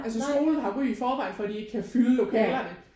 Altså skolen har ry i forvejen for at de ikke kan fylde lokalerne